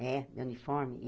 É uniforme.